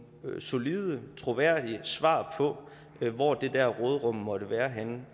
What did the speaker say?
solide troværdige svar på hvor det der råderum måtte være henne